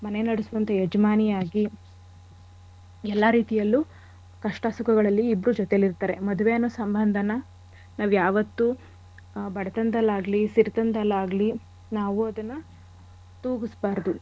ಮನೆ ನಡೆಸುವಂಥ ಯಜಮಾನಿಯಾಗಿ ಎಲ್ಲಾ ರೀತಿಯಲ್ಲೂ ಕಷ್ಟ ಸುಖಗಳಲ್ಲಿ ಇಬ್ರೂ ಜೊತೆಲಿರ್ತಾರೆ. ಮದ್ವೆ ಅನ್ನೋ ಸಂಬಂಧನ ನಾವ್ ಯಾವತ್ತೂ ಆ ಬಡತನದಲ್ಲಾಗ್ಲಿ ಸಿರಿತನದಲ್ಲಾಗ್ಲಿ ನಾವು ಅದನ್ನ ತೂಗುಸ್ಬಾರ್ದು.